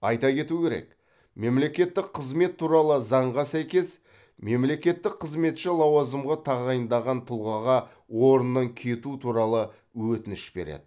айта кету керек мемлекеттік қызмет туралы заңға сәйкес мемлекеттік қызметші лауазымға тағайындаған тұлғаға орнынан кету туралы өтініш береді